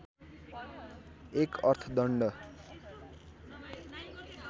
१ अर्थदण्ड